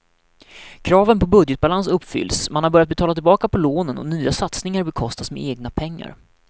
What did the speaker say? Kraven på budgetbalans uppfylls, man har börjat betala tillbaka på lånen och nya satsningar bekostas med egna pengar.